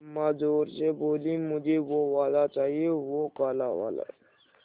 अम्मा ज़ोर से बोलीं मुझे वो वाला चाहिए वो काला वाला